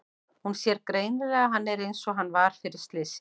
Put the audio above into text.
Hún sér greinilega að hann er einsog hann var fyrir slysið.